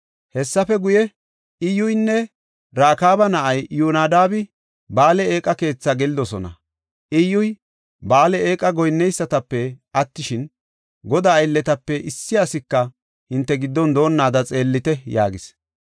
Hessafe guye, “Iyyuynne Rakaaba na7ay Iyyonadaabi Ba7aale eeqa keetha gelidosona. Iyyuy, Ba7aale eeqa goyinneysatape attishin, Godaa aylletape issi asika hinte giddon doonnaada xeellite” yaagis.